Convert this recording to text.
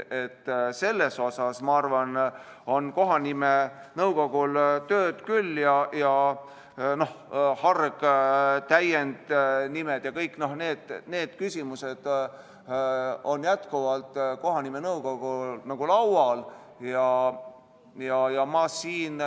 Seal, ma arvan, on kohanimenõukogul tööd küll, harg- ja täiendnimed ja kõik need küsimused on jätkuvalt kohanimenõukogu laual.